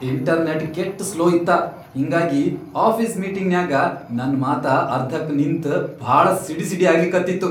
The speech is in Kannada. ಇಂಟರ್ನೆಟ್ ಕೆಟ್ ಸ್ಲೋ ಇತ್ತ ಹಿಂಗಾಗಿ ಆಫೀಸ್ ಮೀಟಿಂಗ್ನ್ಯಾಗ ನನ್ ಮಾತ ಅರ್ಧಕ್ಕ ನಿಂತ್ ಭಾಳ ಸಿಡಿಸಿಡಿ ಆಗ್ಲಿಕತ್ತಿತ್ತು.